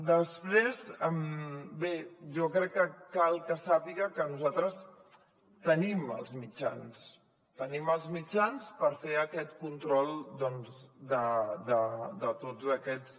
després bé jo crec que cal que sàpiga que nosaltres tenim els mitjans tenim els mitjans per fer aquest control doncs de tots aquests